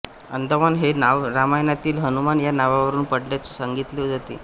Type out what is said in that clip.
अंदमान हे नाव रामायणातील हनुमान या नावावरून पडल्याचे सांगितले जाते